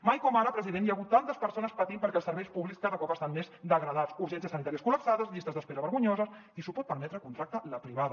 mai com ara president hi ha hagut tantes persones patint perquè els serveis públics cada cop estan més degradats urgències sanitàries col·lapsades llistes d’espera vergonyoses qui s’ho pot permetre contracta la privada